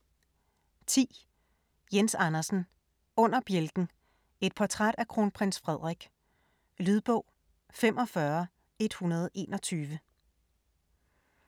10. Andersen, Jens: Under bjælken: et portræt af Kronprins Frederik Lydbog 45121